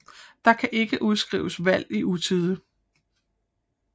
Der kan ikke udskrives valg i utide